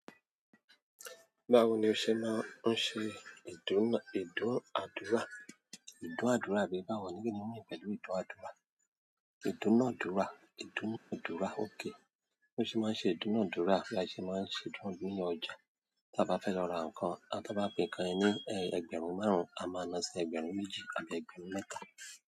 Báwo ni o ṣe máa ń ṣe ìdúnà-dúrà? Ìdúnàdúrà bí bá wọ́n ní kí n mú ìpẹ̀lú ìdúnàdúrà. Ìdúnàdúrà, ìdúnàdúrà, ókay bi mo ṣe é máa ń ṣe ìdúnàdúrà la ṣe máa ń ṣe ìdúnàdura nínú ọjà. Tí a bá fẹ́ lọ ra nǹkan, a tón bá pe nkan yen ní ẹgbẹ̀rún márùn-ún, a máa ná sí ẹgbẹ̀rún méjì àbí ẹgbẹ̀rún mẹ́ta.